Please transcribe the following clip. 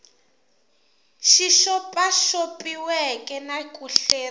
xi xopaxopiweke na ku hleriw